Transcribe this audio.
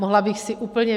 Mohla bych si úplně...